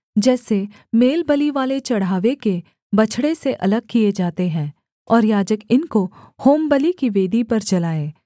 जैसे मेलबलिवाले चढ़ावे के बछड़े से अलग किए जाते हैं और याजक इनको होमबलि की वेदी पर जलाए